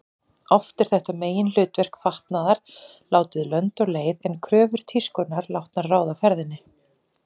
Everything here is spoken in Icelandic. Oft er þetta meginhlutverk fatnaðar látið lönd og leið en kröfur tískunnar látnar ráða ferðinni.